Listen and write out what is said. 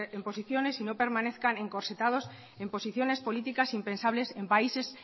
en posiciones y no permanezcan encorsetados en posiciones políticas impensables en países